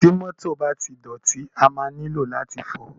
Ti mọ́tọ̀ bá ti dọ̀tí, a máa nílò láti fọ̀ọ́.